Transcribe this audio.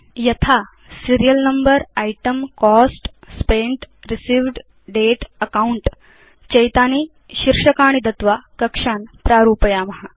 यथा Serial number item cost spent received date account चैतानि शीर्षकाणि दत्वा कक्षान् प्रारूपयाम